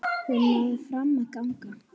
Hún náði fram að ganga.